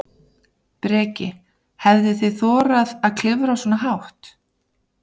Breki: Hefðuð þið þorað að klifra svona hátt?